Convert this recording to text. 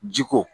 Ji ko